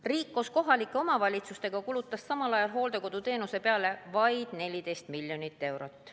Riik koos kohalike omavalitsustega kulutas samal ajal hooldekoduteenuse peale vaid 14 miljonit eurot.